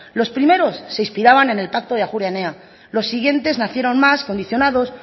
los primeros se inspiraban en el pacto de ajuria enea los siguientes nacieron más condicionados